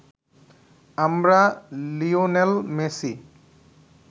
আমরা Lionel Messi